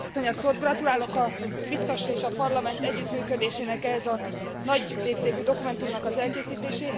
Gratulálok a biztos és a Parlament együttműködésének ehhez a nagy léptékű dokumentumnak az elkészítéséhez.